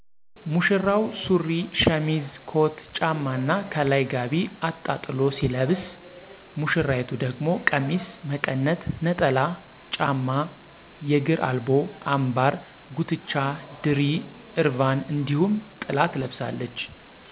ሙሽራው ሱሪ፣ ሸሚዝ፣ ኮት፣ ጫማ እና ከላይ ጋቢ አጣጥሎ ሲለብስ ሙሽራይቱ ደግሞ ቀሚስ፣ መቀነት፣ ነጠላ፣ ጫማ፣ የግር አልቦ፣ አምባር፣ ጉትቻ፣ ድሪ፣ እርቫን እንዲሁም ጥላ ትለብሳለች።